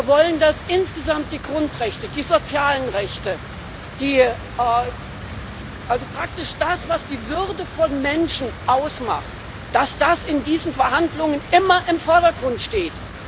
Wir wollen, dass insgesamt die Grundrechte, die sozialen Rechte, also praktisch das, was die Würde von Menschen ausmacht, in diesen Verhandlungen immer im Vordergrund stehen.